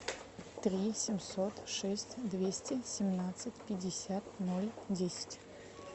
три семьсот шесть двести семнадцать пятьдесят ноль десять